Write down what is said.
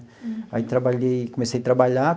Aí, trabalhei, comecei trabalhar.